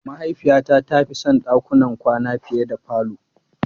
Mahaifiyata ta fi son dakunan kwana fiye da falo.